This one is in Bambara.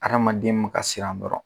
Adamaden ma ka siran dɔrɔn